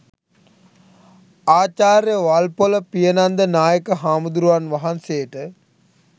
ආචාර්ය වල්පොළ පියනන්ද නායක හාමුදුරුවන් වහන්සේට